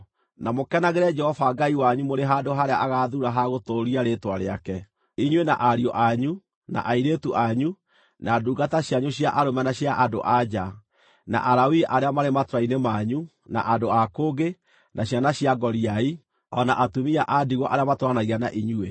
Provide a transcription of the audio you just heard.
Na mũkenagĩre Jehova Ngai wanyu mũrĩ handũ harĩa agaathuura ha gũtũũria Rĩĩtwa rĩake, inyuĩ, na ariũ anyu, na airĩtu anyu, na ndungata cianyu cia arũme na cia andũ-a-nja, na Alawii arĩa marĩ matũũra-inĩ manyu, na andũ a kũngĩ, na ciana cia ngoriai, o na atumia a ndigwa arĩa matũũranagia na inyuĩ.